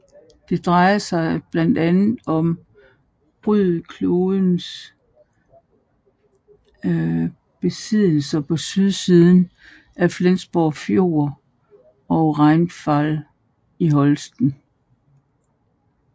Det drejede sig blandt andet om Ryd Klosters besiddeler på sydsiden af Flensborg Fjord og Reinfeld i Holsten